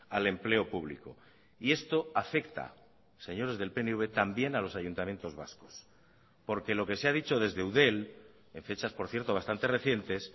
al empleo público y esto afecta señores del pnv también a los ayuntamientos vascos porque lo que se ha dicho desde eudel en fechas por cierto bastantes recientes